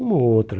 Uma ou outra.